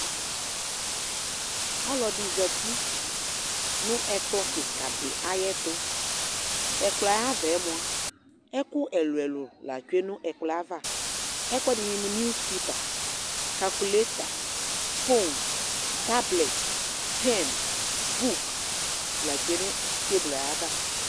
Ɔlɔdɩ zati nʋ ɛkplɔ kɩka dɩ ayɛtʋ Ɛkplɔ yɛ ayʋ ava yɛ mʋa, ɛkʋ ɛlʋ-ɛlʋ la tsue nʋ ɛkplɔ yɛ ava Ɛkʋɛdɩnɩ mʋ niwus pepa, kalkuleta, fon, tablɛt, pɛn, buk la tsue nʋ tebl yɛ ava